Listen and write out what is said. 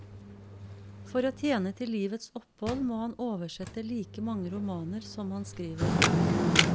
For å tjene til livets opphold må han oversette like mange romaner som han skriver.